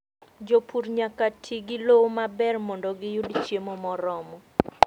Jopur nyaka ti gi lowo maber mondo giyud chiemo moromo.